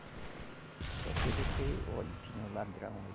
Só se você, olhe, tinha um ladrão aí.